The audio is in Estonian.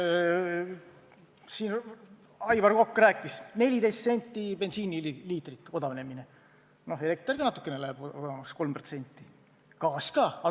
Siin Aivar Kokk rääkis: 14 senti bensiiniliitri odavnemine, elekter läheb ka natuke, 3% odavamaks, gaas ka.